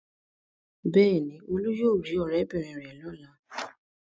Bẹ́ẹ̀ ni, Olú yóò rí ọ̀rẹ́bìnrin rẹ̀ lọ́la.